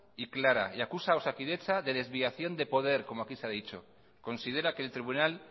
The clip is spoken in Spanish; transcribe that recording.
y clara y acusa a osakidetza de desviación de poder como aquí se ha dicho considera que el tribunal